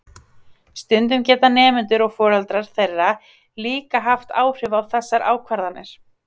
stundum geta nemendur og foreldrar þeirra líka haft áhrif á þessar ákvarðanir